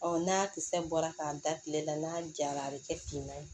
n'a kisɛ bɔra k'a da kile la n'a jara a bi kɛ finma ye